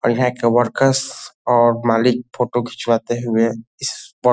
और यहाँ के वर्कर्स और मालिक फोटो खिंचवाते हुए इस --